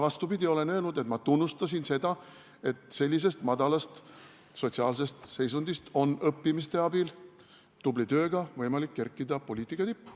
Vastupidi, ma olen öelnud, et ma tunnustan seda, et sellisest madalast sotsiaalsest seisundist on õppimise abil ja tubli tööga võimalik kerkida poliitika tippu.